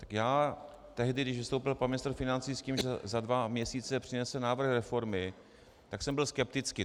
Tak já, tehdy, když vystoupil pan ministr financí s tím, že za dva měsíce přinese návrh reformy, tak jsem byl skeptický.